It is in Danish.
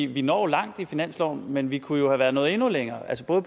vi når langt i finansloven men vi kunne jo være nået endnu længere altså